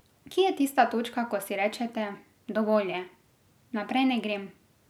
Kje je tista točka, ko si rečete, dovolj je, naprej ne grem?